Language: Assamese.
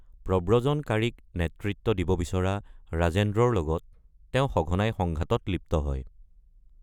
প্ৰব্ৰজনকাৰীক নেতৃত্ব দিব বিচৰা ৰাজেন্দ্ৰৰ লগত তেওঁ সঘনাই সংঘাতত লিপ্ত হয়।